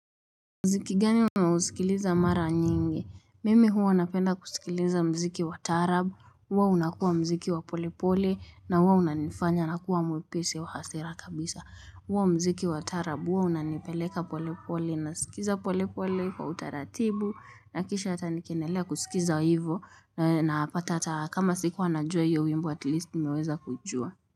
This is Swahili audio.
Mziki gani umewasikiliza mara nyingi. Mimi hua napenda kusikiliza mziki wa taarab. Huo unakua mziki wa pole pole na huo unanifanya na kuwa mwepesi wa hasira kabisa. Huo mziki wa taarab huwa unanipeleka pole pole na sikiza polepole kwa utaratibu. Na kisha hata nikiendelea kusikiza hivo napata hata kama sikua najua hiyo wimbo at least nimeweza kujua.